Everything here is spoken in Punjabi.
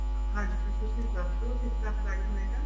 ਹਾਂਜੀ ਤੁਸੀਂ ਦੱਸ ਦੋ ਕਿਸ ਤਰ੍ਹਾਂ apply ਹੋਏਗਾ